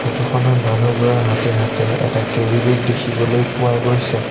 Photo খনত মানুহবোৰৰ হাতে হাতে এটা কেৰি বেগ দেখিবলৈ পোৱা গৈছে।